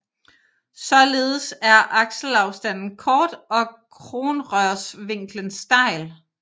Således er akselafstanden kort og kronrørsvinklen stejl